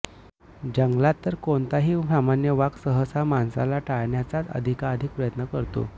जंगलात तर कोणताही सामान्य वाघ सहसा माणसाला टाळण्याचाच अधिकाधिक प्रयत्न करतो